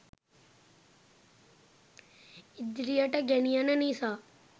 ඉදිරියට ගෙනියන නිසා